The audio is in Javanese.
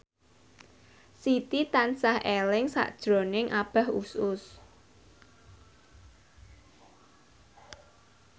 Siti tansah eling sakjroning Abah Us Us